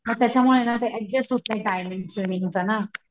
म त्याच्यामुळे ना ते ऍडजेस्ट होत नाही टाईमिंगच ना,